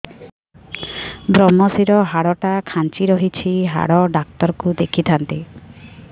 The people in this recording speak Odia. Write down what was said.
ଵ୍ରମଶିର ହାଡ଼ ଟା ଖାନ୍ଚି ରଖିଛି ହାଡ଼ ଡାକ୍ତର କୁ ଦେଖିଥାନ୍ତି